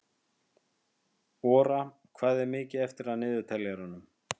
Ora, hvað er mikið eftir af niðurteljaranum?